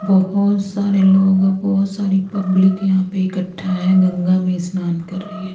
बहोत सारे लोग बहोत सारी पब्लिक यहां पर इकट्ठा है गंगा में स्नान कर रही है।